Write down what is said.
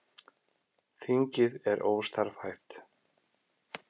Þingið er óstarfhæft